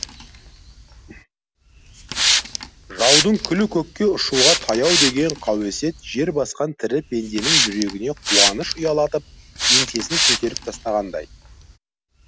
жаудың күлі көкке ұшуға таяу деген қауесет жер басқан тірі пенденің жүрегіне қуаныш ұялатып еңсесін көтеріп тастағандай